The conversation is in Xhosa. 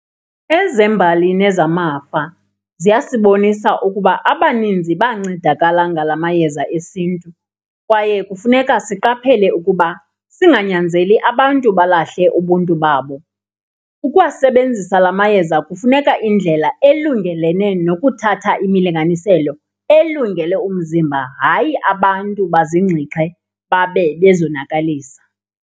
Ezembali nezamafa ziyasibonisa ukuba abaninzi bancedakala ngala mayeza esintu kwaye kufuneka siqaphele ukuba singanyanzeli abantu balahle ubuntu babo. Ukuwasebenzisa la mayeza kufuneka indlela elungelene nokuthatha imilinganiselo elungele umzimba, hayi abantu bazingxixhe babe bezonakalisa.